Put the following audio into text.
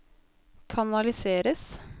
kanaliseres